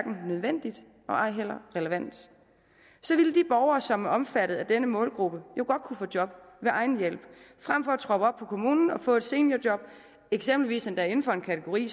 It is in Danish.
nødvendigt og ej heller relevant så ville de borgere som er omfattet af denne målgruppe jo godt kunne få job ved egen hjælp frem for at troppe op kommunen og få et seniorjob og eksempelvis endda inden for en kategori